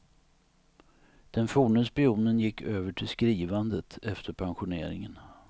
Den forne spionen gick över till skrivandet efter pensioneringen.